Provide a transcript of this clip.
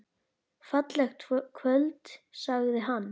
Fallegt kvöld sagði hann.